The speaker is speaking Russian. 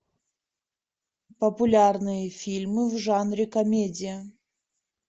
популярные фильмы в жанре комедия